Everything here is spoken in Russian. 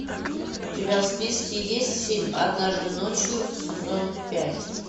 у тебя в списке есть фильм однажды ночью сезон пять